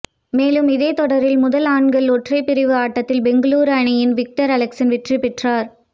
மேலும் இதே தொடரில் முதல் ஆண்கள் ஒற்றையர் பிரிவு ஆட்டத்தில் பெங்களூரு அணியின் விக்டர் அலெக்சன் வெற்றி பெற்றார்